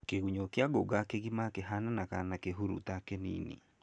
Kĩgunyũ kĩa ngũnga gĩkĩgima kĩhananaga na kihuruta kĩnini